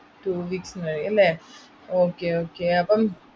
two weeks നുള്ളിൽ അല്ലേ? okay okay അപ്പം.